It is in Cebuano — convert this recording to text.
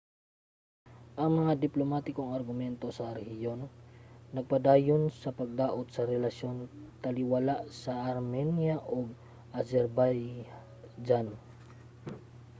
ang mga diplomatikong argumento sa rehiyon nagpadayon sa pagdaot sa relasyon taliwala sa armenia ug azerbaijan